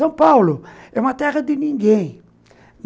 São Paulo é uma terra de ninguém.